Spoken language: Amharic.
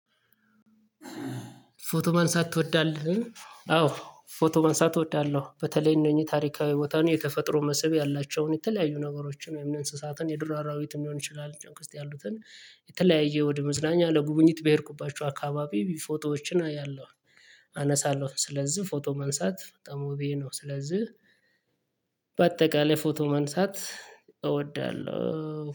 ፎቶ ማንሳት ትወዳለህ? አዎ ፎቶ ማንሳት እወዳለሁ። በተለይ እነኚህ ታሪካዊ ቦታዎች የተፈጥሮ መስህብ ያላቸውን የተለያዩ ነገሮች እነ እንስሳትን፣ የዱር አራዊትን ሊሆን ይችላል የተለያየ ወደ መዝናኛ ለጉብኝት በሄድኩበት ሰዓት አካባቢ ፎቶዎችን አያለሁኝ። አነሳለሁ። ስለዝህ ፎቶ ማንሳት በጣም ሆቢየ ነው። በአጠቃላይ ፎቶ ማንሳት እወዳለሁ።